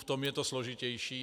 V tom je to složitější.